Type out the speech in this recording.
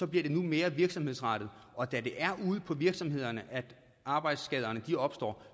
bliver det nu mere virksomhedsrettet og da det er ude på virksomhederne arbejdsskaderne opstår